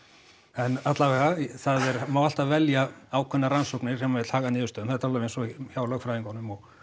en alla vega það má alltaf velja ákveðnar rannsóknir sem maður vill haga niðurstöðum þetta er alveg eins og hjá lögfræðingunum og